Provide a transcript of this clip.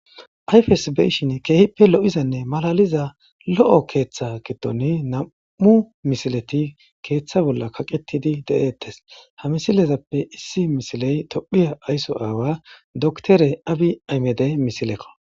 Ayfes be'ishshin keehippe lo'izanne malaliza lo'o keeththa gidoni nam'u misileti keeththa bolla kaqetidi de'eettes ha misilezappe issi misiley tophphiya ayso aawa doktere abi aymedey misilekko